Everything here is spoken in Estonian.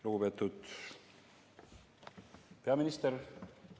Lugupeetud peaminister!